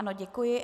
Ano, děkuji.